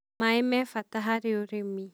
maĩ me bata hari ũrĩmĩ.